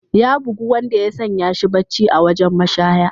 Ya bugu wanda ya sanya shi barci a wajen mashaya.